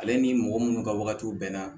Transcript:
Ale ni mɔgɔ minnu ka wagati bɛɛ na